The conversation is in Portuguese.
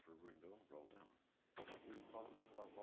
Tá. qual o nome dos seus avós?